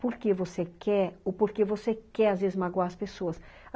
porque você quer ou porque você quer às vezes magoar as pessoas.